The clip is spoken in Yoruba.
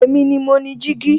Èmi ni mo ni jígí